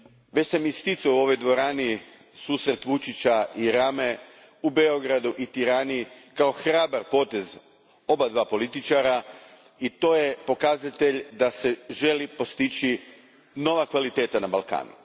Već sam isticao u ovoj dvorani susret Vučića i Rame u Beogradu i Tirani kao hrabar potez obojice političara i to je pokazatelj da se želi postići nova kvaliteta na Balkanu.